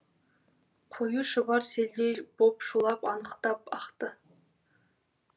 қою шұбар селдей боп шулап анықтап ақты